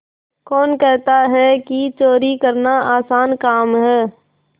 कौन कहता है कि चोरी करना आसान काम है